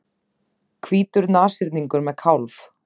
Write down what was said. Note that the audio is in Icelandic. Hvítur nashyrningur með kálf.